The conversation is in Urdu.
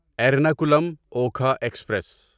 ایرناکولم اوکھا ایکسپریس